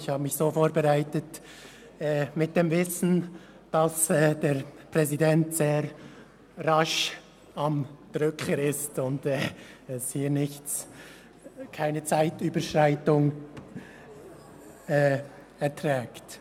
Ich habe mich im Wissen darum vorbereitet, dass der Präsident sehr rasch am Drücker ist und es keine Zeitüberschreitungen verträgt.